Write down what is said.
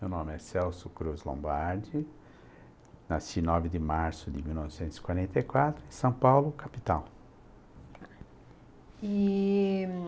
Meu nome é Celso Cruz Lombardi, nasci nove de março de mil novecentos e quarenta e quatro, em São Paulo, capital.